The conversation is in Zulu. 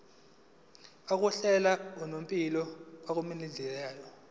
yokuhlala unomphela kumlingani